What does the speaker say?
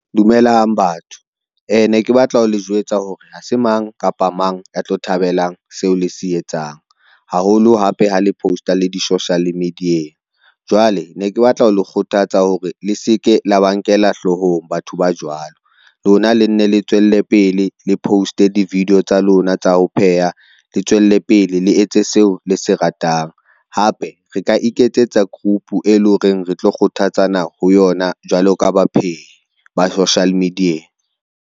Dumelang batho, ne ke batla ho le jwetsa hore ha se mang kapa mang a tlo thabelang seo le se etsang, haholo hape ha le poster le di-social media-eng. Jwale ne ke batla ho le kgothatsa hore le se ke la ba nkela hloohong batho ba jwalo lona le nne le tswelle pele le post-e di-video tsa lona tsa ho pheha, le tswelle pele le etse seo le se ratang. Hape re ka iketsetsa group, e leng hore re tlo kgothatsana ho yona jwalo ka baphehi ba social media.